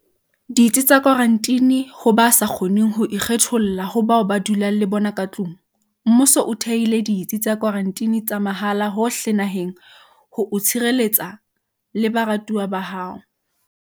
Ditsi tsa Kwaranteni Ho ba sa kgoneng ho ikgetholla ho bao ba dulang le bona ka tlung, mmuso o thehile ditsi tsa kwaranteni tsa mahala hohle naheng ho o tshireletsa le baratuwa ba hao.